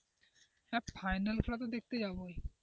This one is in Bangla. final খেলা তো দেখতে যাবোই।